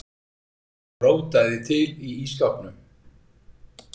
Rótaði til í ísskápnum.